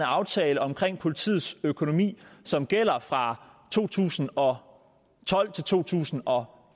aftale om politiets økonomi som gælder fra to tusind og tolv til to tusind og